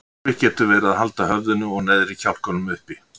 Erfitt getur verið að halda höfðinu og neðri kjálkanum uppi.